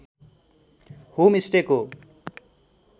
home stay को